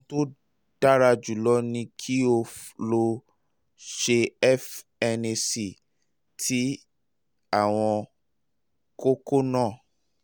ohun tí ó dára jùlọ ni kí o lọ ṣe fnac ti àwọn kókó náà